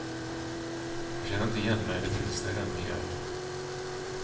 Jag känner inte igen mig det minsta i den miljön.